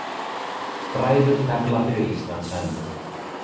Bræður tefla fyrir Íslands hönd